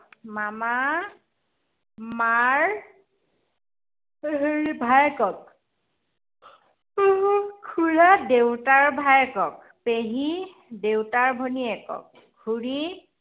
মামা মাৰ ভায়েকক খুড়া দেউতাৰ ভায়েকক, পেহী দেউতাৰ ভনীয়েকক, খুড়ী